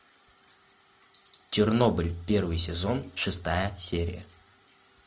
чернобыль первый сезон шестая серия